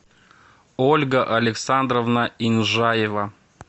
ольга александровна инжаева